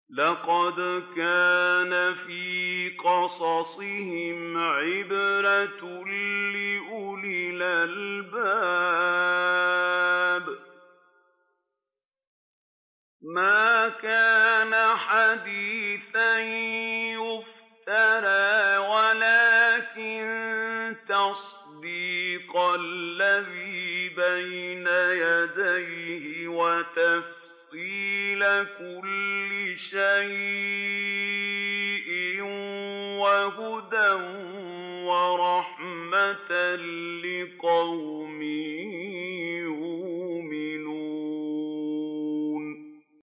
لَقَدْ كَانَ فِي قَصَصِهِمْ عِبْرَةٌ لِّأُولِي الْأَلْبَابِ ۗ مَا كَانَ حَدِيثًا يُفْتَرَىٰ وَلَٰكِن تَصْدِيقَ الَّذِي بَيْنَ يَدَيْهِ وَتَفْصِيلَ كُلِّ شَيْءٍ وَهُدًى وَرَحْمَةً لِّقَوْمٍ يُؤْمِنُونَ